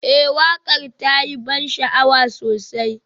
Ee waƙar ta yi ban sha'awa sosai